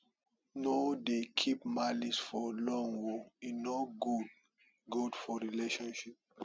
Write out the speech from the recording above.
no dey keep malice for long o e no good good for friendship